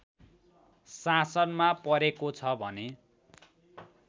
शासनमा परेको छ भने